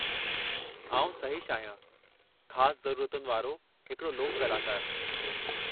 आउं सहिशु आहियां, ख़ासु ज़रूरतनि वारो हिकड़ो लोकु कलाकारु।